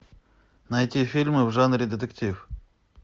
найти фильмы в жанре детектив